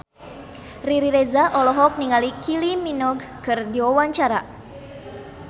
Riri Reza olohok ningali Kylie Minogue keur diwawancara